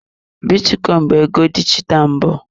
Bitcoin bụ ego dijitalụ mbụ.